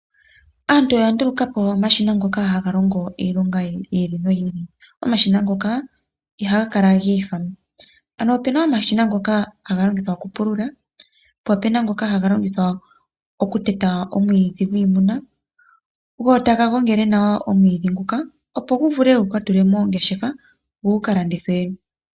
Aantu oya nduluka po omashina ngoka haga longo iilonga yi ili noyi ili. Omashina ngoka i haga kala giifa. Ano ope na omashina ngoka ga longithwa okupulula po ope na ngoka haga longithwa oku teta omwiidhi gwiimuna. Go taga gongele nawa omwiidhi nguka opo gu vule guka tulwe moongeshefa, go gu ka landithwe.